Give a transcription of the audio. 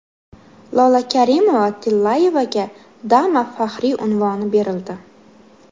Lola Karimova-Tillayevaga Dama faxriy unvoni berildi.